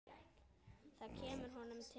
Það kemur honum til.